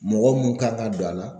Mɔgɔ mun kan ka don a la